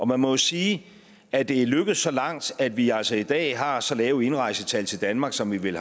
man må jo sige at det er lykkedes så langt at vi altså i dag har så lave indrejsetal til danmark som vi vel